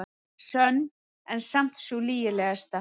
Sönn en samt sú lygilegasta.